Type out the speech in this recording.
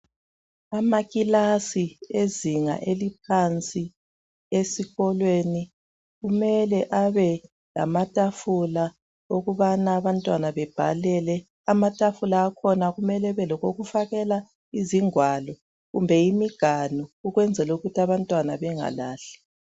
Amakilasi ezinga eliphansi esikolweni kumele abe lamatafula okubana abantwana bebhalele. Amatafula akhona kumele abe lokokufakela ingwalo kumbe imiganu ukwenzela ukuthi abantwana bengalahli.